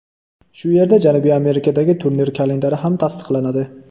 Shu yerda Janubiy Amerikadagi turnir kalendari ham tasdiqlanadi.